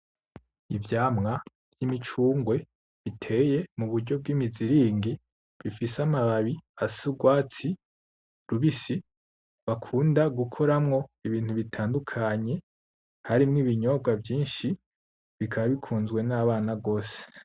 Ivyamwa vy'imicungwe biteye muburyo bw'imiziringi, bifise amababi afise urwatsi rubisi bakunda gukoramwo ibintu bitandukanye harimwo ibinyobwa vyinshi bikaba bikunzwe n'abana gose.